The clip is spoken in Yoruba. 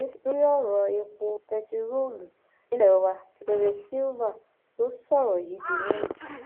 mínísítà kékeré lórí ọrọ epo bẹntiróòlù nílé wa típéré sylva ló sọrọ yìí di mímọ